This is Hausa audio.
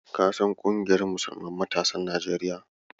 Ka san ƙungiyar Musulman matasan Najeriya?